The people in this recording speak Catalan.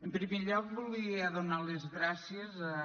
en primer lloc voldria donar les gràcies a